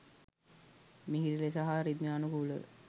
මිහිරි ලෙස හා රිද්මයානුකූල ව